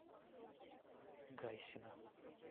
гайсина